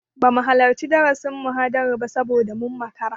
Bamu halarci darasin/muhadarar ba saboda mun makara.